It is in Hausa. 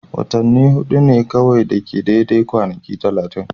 Watanni hudu ne kawai ke da daidai kwanaki 30.